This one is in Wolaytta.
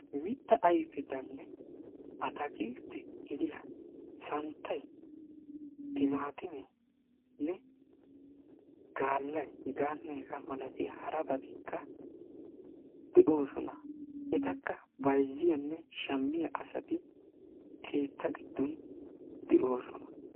mita ayfetanne ataakiltetta gidiya santaynne gaalay hegetanne hegeeta milatiya harabattiika de'oosona. etakka bayzziyanne shammiya asati keetta giddon de'oosona.